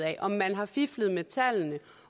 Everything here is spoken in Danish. af om man har fiflet med tallene